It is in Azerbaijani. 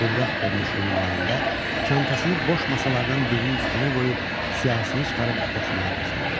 Qıvraq görünüşlü nümayəndə çantasını boş masalardan birinin üstünə qoyub, siyahısını çıxarıb oxumağa başladı.